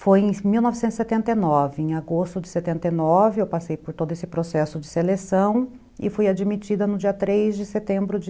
Foi em mil novecentos e setenta e nove, em agosto de setenta e nove, eu passei por todo esse processo de seleção e fui admitida no dia três de setembro de